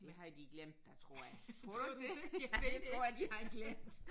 Det havde de glemt da tror jeg. Ja det tror jeg de havde glemt